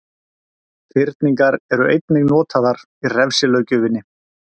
Fyrningar eru einnig notaðar í refsilöggjöfinni.